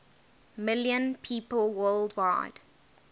million people worldwide